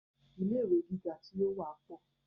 Ilé ìwé gíga tí o wa pọ.